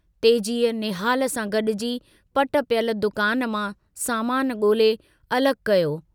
तेजीअ निहाल सां गड़जी पटि पियल दुकान मां सामान गोल्हे अलग कयो।